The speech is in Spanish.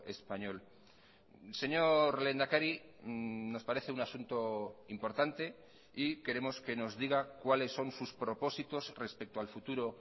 español señor lehendakari nos parece un asunto importante y queremos que nos diga cuales son sus propósitos respecto al futuro